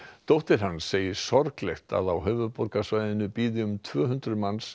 dóttir hans segir sorglegt að á höfuðborgarsvæðinu bíði um tvö hundruð manns